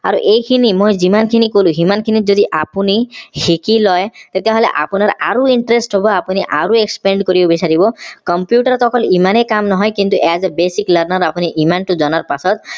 আৰু এই খিনি মই যিমান খিনি কলো সিমান খিনি যদি আপুনি শিকিলয় তেতিয়া হলে আপোনাৰ আৰু interest হব আপুনি আৰু expand কৰিব বিচাৰিব computer ত অকল ইমানেই কাম নহয় কিন্তু as a basic learner আপুনি ইমান টো জনাৰ পাছত